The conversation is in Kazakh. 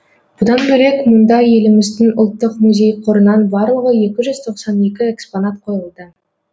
бұдан бөлек мұнда еліміздің ұлттық музей қорынан барлығы екі жүз тоқсан екі экспонат қойылды